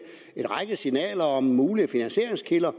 en række signaler om mulige finansieringskilder